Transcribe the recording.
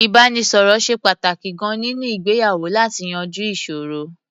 Ìbánisọ̀rọ̀ ṣe pàtàkì gan-an nínú ìgbéyàwó láti yanjú ìṣòro.